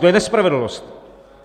To je nespravedlnost!